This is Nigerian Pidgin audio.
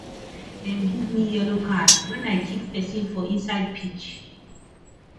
dem give me yellow card wen i kick pesin for inside pitch